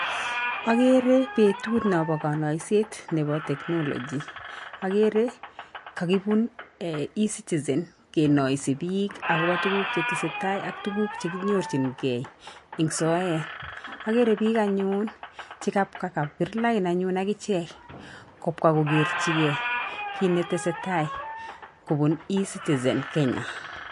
Akere betut nobo kanaiset nebo technology, akere kakibun eCitizen kenoise biik akobo tuguk chetesetai ak tuguk che kinyorjinkei eng soet, akere biik anyun che kapka kabir lain anyun akichek kopka kokerchikei kit netesetai kobun eCitizen Kenya.